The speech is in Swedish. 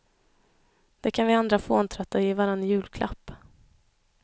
Det kan vi andra fåntrattar ge varann i julklapp.